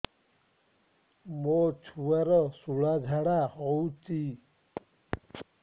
ମୋ ଛୁଆର ସୁଳା ଝାଡ଼ା ହଉଚି